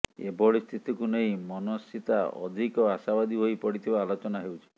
ଏଭଳି ସ୍ଥିତିକୁ ନେଇ ମନସ୍ସ୍ିତା ଅଧିକ ଆଶାବାଦୀ ହୋଇ ପଡିଥିବା ଆଲୋଚନା ହେଉଛି